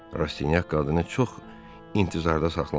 Rastinyak qadını çox intizarda saxlamadı.